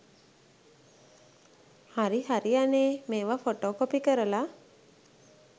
හරි හරි අනේ මේවා ෆොටෝ කොපි කරල